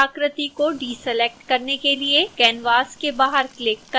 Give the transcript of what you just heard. फिर आकृति को डीसेलेक्ट करने के लिए canvas के बाहर क्लिक करें